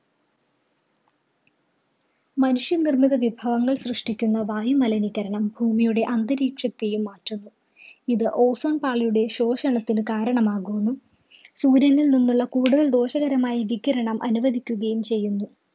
മനുഷ്യനിര്‍മ്മിത വിഭവങ്ങള്‍ സൃഷ്ടിക്കുന്ന വായുമലിനീകരണം ഭൂമിയുടെ അന്തരീക്ഷത്തെയും മാറ്റുന്നു. ഇത് ozone പാളിയുടെ ശോഷണത്തിന് കാരണമാകുന്നു. സൂര്യനില്‍ നിന്നുള്ള കൂടുതല്‍ ദോഷകരമായ വികിരിണം അനുവദിക്കുകയും ചെയ്യുന്നു.